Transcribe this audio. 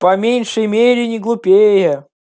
по меньшей мере не глупее